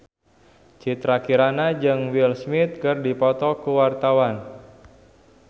Citra Kirana jeung Will Smith keur dipoto ku wartawan